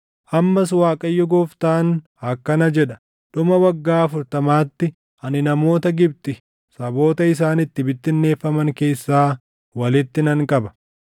“ ‘Ammas Waaqayyo Gooftaan akkana jedha: Dhuma waggaa afurtamaatti ani namoota Gibxi saboota isaan itti bittinneeffaman keessaa walitti nan qaba.